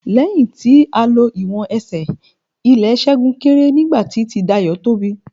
Lẹ́yìn tí a lo ìwọ̀n Ẹsẹ̀, ilè Ṣẹ́gun kéré nígbà tí ti Dayọ̀ tóbi.